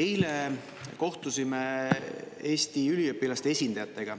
Eile kohtusime Eesti üliõpilaste esindajatega